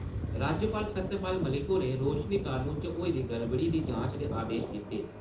राज्यपाल सत्यपाल मलिक होरें रोशनी कनून च होई दी गड़बड़ियें दी जांच दे आदेश दिते।